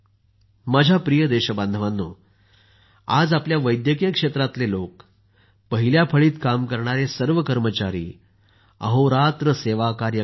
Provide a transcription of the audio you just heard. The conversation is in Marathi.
माझ्या प्रिय देशबांधवांनो आज आपल्या वैद्यकीय क्षेत्रातले लोक पहिल्या फळीत काम करणारे सर्व कर्मचारी अहोरात्र सेवाकार्य करत आहेत